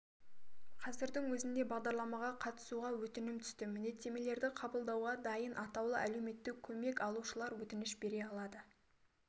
қазірдің өзінде бағдарламаға қатысуға өтінім түсті міндеттемелерді қабылдауға дайын атаулы әлеуметтік көмек алушылар өтініш бере алады